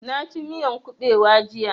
Na ci miyan ƙubewa jiya